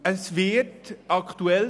Es wird aktuell;